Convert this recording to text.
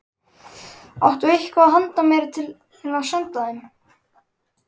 Áttu eitthvað handa mér til að senda þeim?